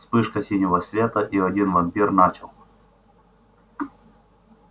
вспышка синего света и один вампир начал